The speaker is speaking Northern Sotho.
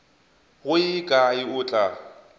go ye kae o tla